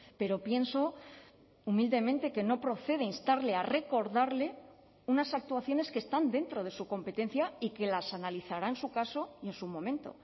pero pienso humildemente que no procede instarle a recordarle unas actuaciones que están dentro de su competencia y que las analizará en su caso y en su momento